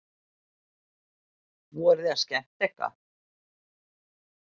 Voruð þið að skemma eitthvað?